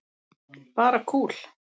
Bara kúl.